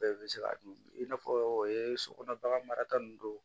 Bɛɛ bɛ se ka dun i n'a fɔ sokɔnɔ bagan marata ninnu don